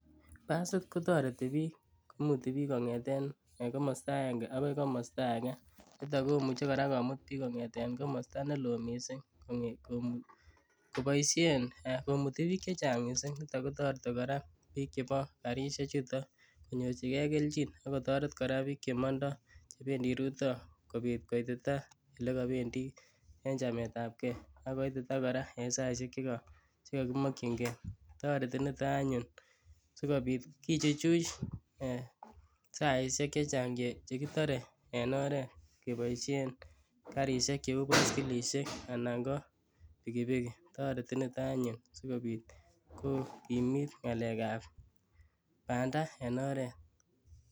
Basit kotoreti biik imuti biik kong'eten komosto akeng'e akoi komosto akee, nitok komuche kora komut biik kong'eten komosto neloo mising koboishen Um komuti biik chechang mising, nitok kotoreti kora biik chebo karishe chuton konyorchikee kelchin akotoret kora biik chemondo chebendi rutoi kobiit koititaa olekobendii en chametab kee akoitita kora en saishek chekomokying'ee, toreti niton anyun sikobiit kichuchuj saishek chechang chekitore en oreet keboishen karishek cheuu boskilishek anan ko pikipikii, toreti niton anyun sikobiit kokimiit ng'alekab bandaa en oreet.